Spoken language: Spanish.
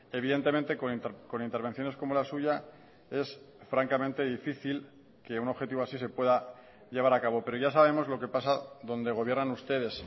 evidentemente con intervenciones como la suya es francamente difícil que un objetivo así se pueda llevar a cabo pero ya sabemos lo que pasa donde gobiernan ustedes